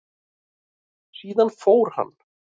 Síðan fór hann.